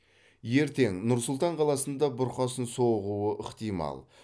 ертең нұр сұлтан қаласында бұрқасын соғуы ықтимал